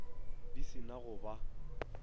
di se na go ba